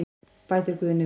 Bætir Guðni við.